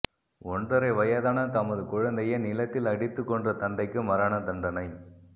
ஒன்றரை வயதான தமது குழந்தையை நிலத்தில் அடித்து கொன்ற தந்தைக்கு மரணதண்டனை